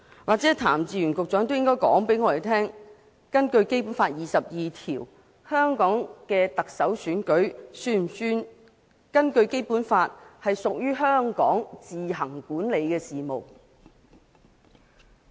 也許譚志源局長應該告訴我們，根據《基本法》第二十二條，香港行政長官選舉是否屬於香港自行管理的事務。